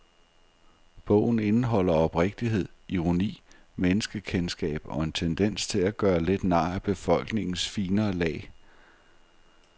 Bogen indeholder oprigtighed, ironi, menneskekendskab og en tendens til at gøre lidt nar af befolkningens finere lag.